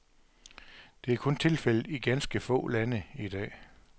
Det er kun tilfældet i ganske få lande i dag.